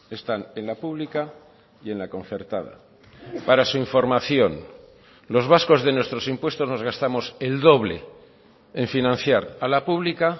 están en la pública y en la concertada para su información los vascos de nuestros impuestos nos gastamos el doble en financiar a la pública